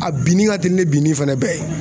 A binni ka teli ni binni fɛnɛ bɛɛ ye